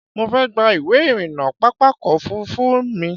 Mo fẹ́ gba ìwé-ìrìnnà pápákọ̀-òfurufú mi.